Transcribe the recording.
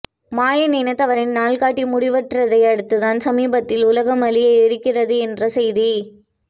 மயன் இனத்தவரின் நாள்காட்டி முடிவுற்றதை அடுத்துதான் சமீபத்தில் உலகம் அழிய இருக்கிறது என்ற செய்தி